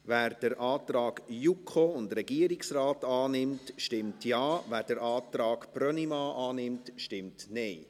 Wer den Antrag JuKo und Regierungsrat annimmt, stimmt Ja, wer den Antrag Brönnimann annimmt, stimmt Nein.